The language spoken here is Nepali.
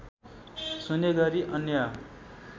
छुने गरी अन्य